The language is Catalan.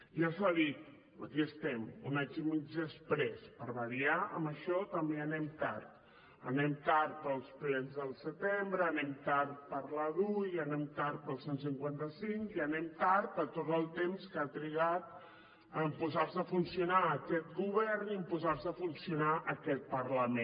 ja s’ha dit aquí estem un any i mig després per variar en això també anem tard anem tard pels plens del setembre anem tard per la dui i anem tard pel cent i cinquanta cinc i anem tard per tot el temps que ha trigat a posar se a funcionar aquest govern i a posar se a funcionar aquest parlament